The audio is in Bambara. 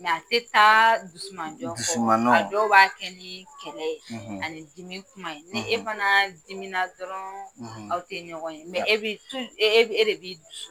a tɛ taa dimanjɔ dusumanɔ, dɔw b'a kɛ ni kɛlɛ ye ani dimi kuma ye ni e fana dimina dɔrɔn aw tɛ ɲɔgɔn ye e e de bi dusu